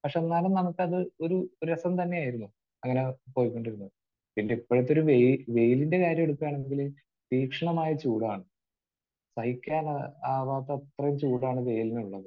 പക്ഷെ എന്നാലും നമുക്കതൊരു രസം തന്നെയായിരുന്നു. അങ്ങനെ പൊയ്ക്കൊണ്ടിരുന്നത്. പിന്നെ ഇപ്പോഴത്തെ ഒരു വെയി...വെയിലിന്റെ കാര്യം വരുമ്പോഴാണെങ്കിൽ തീക്ഷണമായ ചൂടാണ്. സഹിക്കാൻ ആവാത്തത്ര ചൂടാണ് വെയിലിനുള്ളത്.